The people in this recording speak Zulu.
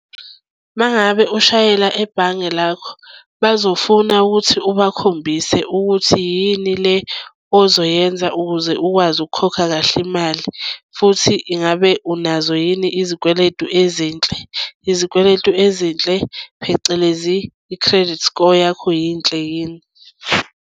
Uma ngabe ushayela ebhange lakho bazofuna ukuthi ubakhombise ukuthi yini le ozoyenza ukuze ukwazi ukukhokha kahle imali futhi ingabe unazo yini izikweletu ezinhle. Izikweletu ezinhle, phecelezi i-credit score yakho yinhle yini.